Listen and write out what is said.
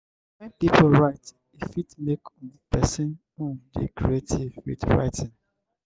when pipo write e fit make um person um dey creative with writing